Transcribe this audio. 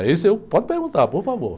É isso, e eu, pode perguntar, por favor.